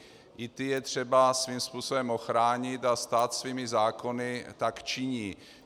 I ty je třeba svým způsobem ochránit a stát svými zákony tak činí.